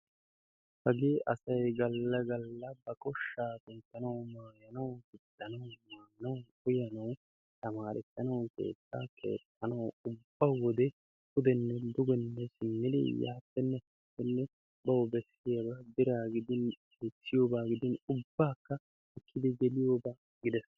Hagee asay galla galla ba koshshaa kunttanawu, maayanawu, gixxanawu, maanawu, uyanawu, tamarissanawu, keettaa keexxanawu ubba wode pudenne dugenne simmidi yaappenne haappenne bawu bessiyabaa biraa gidin dichchiyoba gidin ubbaakka ekkidi geliyoba gidees.